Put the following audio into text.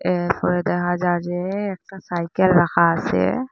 এরপরে দেখা যার যে একটা সাইকেল রাখা আসে ।